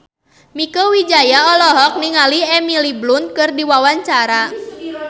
Mieke Wijaya olohok ningali Emily Blunt keur diwawancara